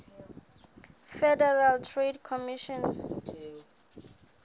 federal trade commission